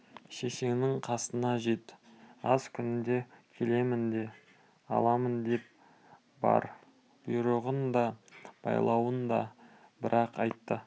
шешеңнің қасына жет аз күнде келемін де аламын деп бар бұйрығын да байлауын да бір-ақ айтты